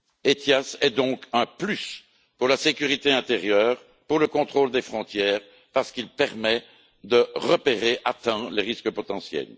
ETIAS est donc un plus pour la sécurité intérieure, pour le contrôle des frontières, parce qu'il permet de repérer à temps les risques potentiels.